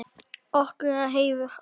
Okkur er heiður af því.